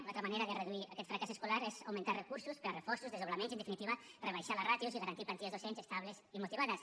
una altra manera de reduir aquest fracàs escolar és augmentar recursos per a reforços desdoblaments i en definitiva rebaixar les ràtios i garantir plantilles docents estables i motivades